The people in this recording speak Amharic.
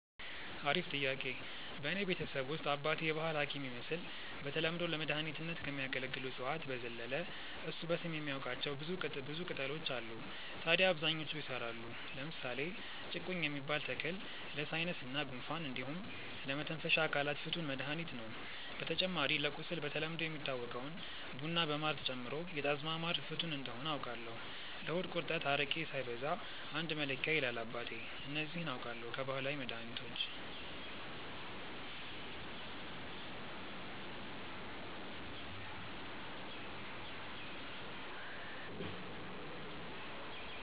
አሪፍ ጥያቄ፣ በእኔ ቤተሰብ ውስጥ አባቴ የባህል ሀኪም ይመስል በተለምዶ ለመድኃኒትነት ከሚያገለግሉ እፅዋት በዘለለ እሱ በስም የሚያቃቸው ብዙ ቅጣሎች አሉ ታድያ አብዛኞቹ ይሰራሉ። ለምሳሌ ጭቁኝ የሚባል ተክል ለሳይነስ እና ጉንፋን እንዲሁም ለመተንፈሻ አካላት ፍቱን መድሀኒት ነው። በተጨማሪ ለቁስል በተለምዶ የሚታወቀውን ቡና በማር ጨምሮ የጣዝማ ማር ፍቱን እንደሆነ አውቃለው። ለሆድ ቁርጠት አረቄ ሳይበዛ አንድ መለኪያ ይላል አባቴ። እነዚህ አውቃለው ከባህላዊ መድሀኒቶች።